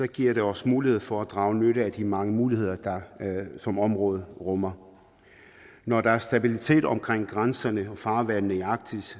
giver det os mulighed for at drage nytte af de mange muligheder som området rummer når der er stabilitet omkring grænserne og farvandene i arktis